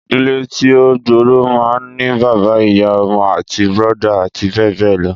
Ìdílé tí o gbóórò mán ní bàbá, ìyá, ọmọ, àntí, brọ̀dá àti bẹẹ bẹẹ lọ.